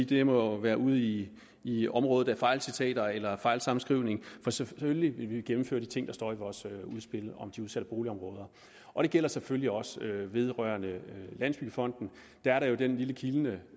det må være ude i i området af fejlcitater eller fejlsammenskrivning for selvfølgelig vil vi gennemføre de ting der står i vores udspil om de udsatte boligområder og det gælder selvfølgelig også vedrørende landsbyggefonden der er jo det lille kildne